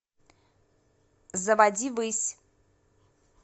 заводи высь